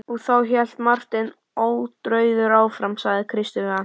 Og þá, hélt Marteinn ótrauður áfram,-sagði Kristur við hann.